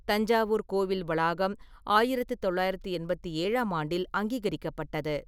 தஞ்சாவூர் கோவில் வளாகம் ஆயிரத்தி தொள்ளாயிரத்தி எண்பத்தி ஏழாம் ஆண்டில் அங்கீகரிக்கப்பட்டது.